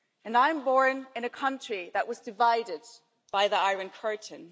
I was born in a country that was divided by the Iron Curtain.